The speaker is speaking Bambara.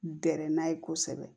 Dɛrɛ n'a ye kosɛbɛ